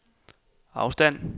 afstand